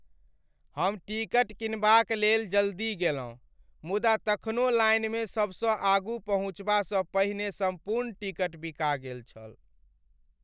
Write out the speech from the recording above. हम टिकट किनबाकक लेल जल्दी गेलहुँ मुदा तखनो लाइनमे सबसँ आगू पहुँचबासँ पहिने सम्पूर्ण टिकट बिका गेल छल ।